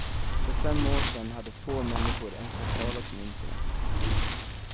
För fem år sedan hade få människor ens hört talas om internet.